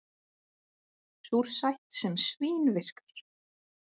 Súrsætt sem svín-virkar